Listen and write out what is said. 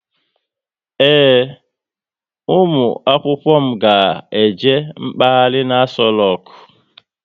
Ee, ụmụ akwụkwọ ga eje mkpaghari n'Aso roku